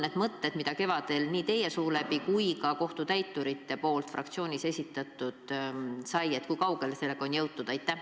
Kevadel esitleti neid plaane meie fraktsioonis nii teie suu läbi kui ka kohtutäiturite poolt, kui kaugele sellega on jõutud?